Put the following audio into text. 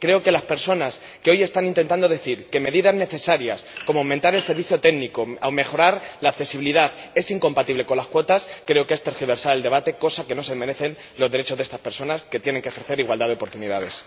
Creo que las personas que hoy están intentando decir que medidas necesarias, como aumentar el servicio técnico o mejorar la accesibilidad son incompatibles con las cuotas, están tergiversando el debate, cosa que no se merecen los derechos de estas personas, que tienen que poder ejercer la igualdad de oportunidades.